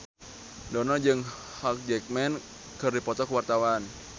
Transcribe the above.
Dono jeung Hugh Jackman keur dipoto ku wartawan